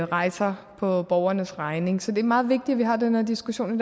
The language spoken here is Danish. rejser på borgernes regning så det er meget vigtigt at vi har den her diskussion i